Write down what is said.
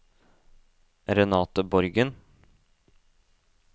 Renate Borgen